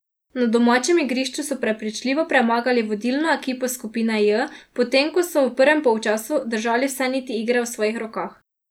Na domačem igrišču so prepričljivo premagali vodilno ekipo skupine J, potem ko so že v prvem polčasu držali vse niti igre v svojih rokah.